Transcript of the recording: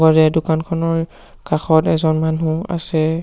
এই দোকানখনৰ কাষত এজন মানুহ আছে।